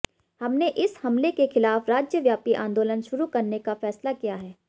हमने इस हमले के खिलाफ राज्यव्यापी आंदोलन शुरू करने का फैसला किया है